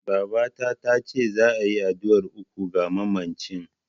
Babata tace za'a yi addu'ar uku ga mamacin.